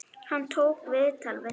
Hann tók viðtal við þig?